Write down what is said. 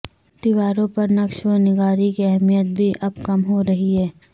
دیواروں پر نقش و نگاری کی اہمیت بھی اب کم ہو رہی ہے